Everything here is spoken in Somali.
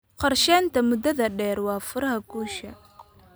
Qorshaynta muddada dheer waa furaha guusha.